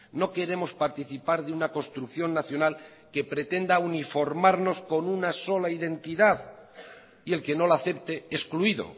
no queremos participar de una construcción nacional que pretenda uniformarnos con una sola identidad y el que no la acepte excluido